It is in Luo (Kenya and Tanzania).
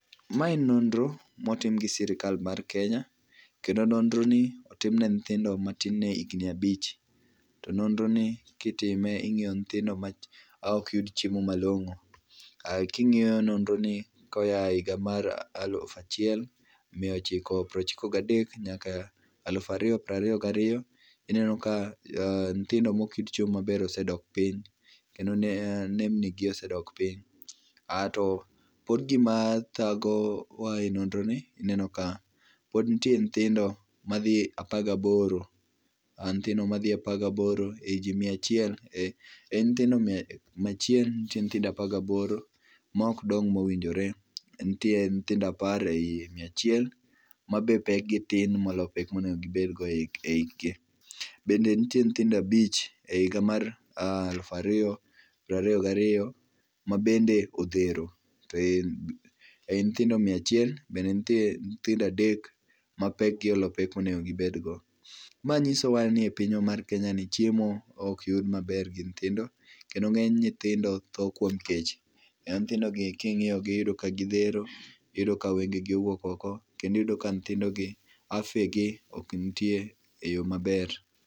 Mae nonro motim gi sirkal mar Kenya. Kendo nonroni otim ne nyithindo matin ne higni abich. To nonroni kitime ing'iyo nyithindo maok yud chiemo malong'o. King'iyo nonroni koa e higa alufu achiel miya ochiko piero ochiko gadek nyaka alufu ariyo piero ariyo gariyo, ineno ka nyithindo maok yud chiemo maber osedok piny kendo nembnigi osedok piny ato pod gima thagowa e nonroni, ineno ka pod nitie nyithindo madhi apar gaboro, nyithindo madhi apar gaboro ewi ji maya achiel, ma mia achiel nitie nyithindo apar gaboro maok dong mowinjore, nitie nyithindo apar ei miya achiel ma pekgi ni piny ni pek monego gibed go e hikgi. Bende nitie nyithindo abich e higa mar alufu ariyo piero ariyo gariyo ma bende odhero to ei nyithindo miya achiel, bende nitie nyithindo adek ma pekgi olo pek monego gibedgo. Ma nyisowa ni e pinywa mar Kenyani chiemo ok yud maber gi nyithindo kendo ng'eny nyithindo tho kuom kech. Nyithindogi king'iyogi iyudo ka odhero kendo wengegi owuok oko, kendo nyithindogi afya gi ok nitie eyo maber